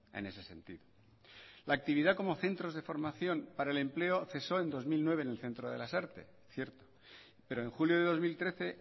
en ese sentido la actividad como centros de formación para el empleo cesó en dos mil nueve en el centro de lasarte cierto pero en julio de dos mil trece